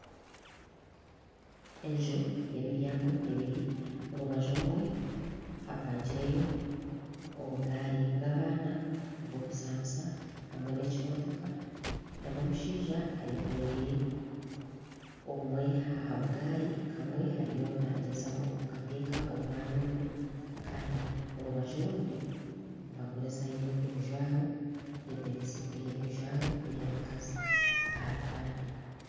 Enju ya emiryango ebiri orubaju rumwe hapangireyo obugari bw'abaana obwokuzanisa hamwe na ekimotoka na omushaija ayekoreire obumwe aha bugari kamwe ariyo nagyezaho kukateka omu mwanya ogwe Kandi orubaju orundi nibagurizayo ebijwaro ebya abakazi aha bipande.